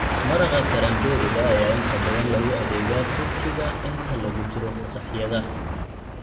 Maraqa karamberriga ayaa inta badan lagu adeegaa turkiga inta lagu jiro fasaxyada.